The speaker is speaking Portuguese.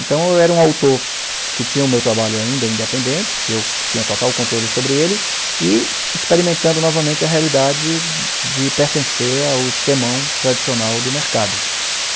Então eu era um autor que tinha o meu trabalho ainda independente, que eu tinha total controle sobre ele, e experimentando novamente a realidade de pertencer ao esquemão tradicional do mercado.